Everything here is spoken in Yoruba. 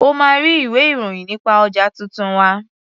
O máa rí ilwé-ìròyì nípa ọjà tuntun wa.